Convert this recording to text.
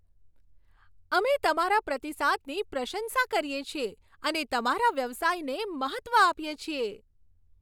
અમે તમારા પ્રતિસાદની પ્રશંસા કરીએ છીએ અને તમારા વ્યવસાયને મહત્ત્વ આપીએ છીએ.